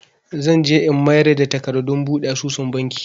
Zan je in mayar da takardun buɗe asusun Banki.